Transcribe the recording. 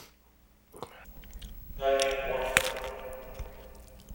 дальнегорском